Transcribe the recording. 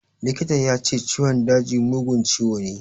Likita ya ce ciwon daji mugun ciwo ne.